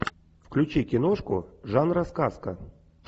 включи киношку жанра сказка